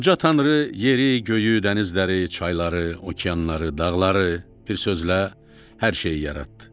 Uca tanrı yeri, göyü, dənizləri, çayları, okeanları, dağları, bir sözlə hər şeyi yaratdı.